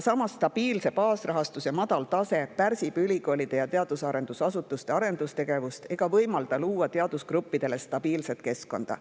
Samas aga stabiilse baasrahastuse madal tase pärsib ülikoolide ja teadus-arendusasutuste arendustegevust ega võimalda luua teadusgruppidele stabiilset keskkonda.